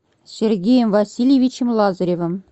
сергеем васильевичем лазаревым